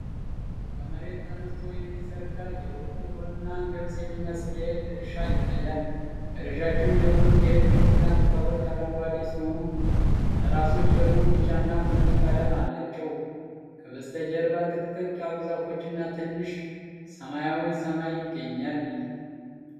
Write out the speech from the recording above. ከመሬት ተነስቶ የሚዘረጋ የበቆሎና ገብስ የሚመስል የእህል እርሻ ይታያል። ረዣዥም የሆኑት የእህል ግንድና ቅጠሎች አረንጓዴ ሲሆኑ፣ ራሶች ደግሞ ቢጫና ቡኒ ቀለም አላቸው። ከበስተጀርባ ጥቅጥቅ ያሉ ዛፎችና ትንሽ ሰማያዊ ሰማይ ይገኛል።